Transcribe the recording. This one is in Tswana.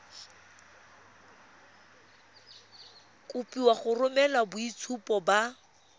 kopiwa go romela boitshupo ba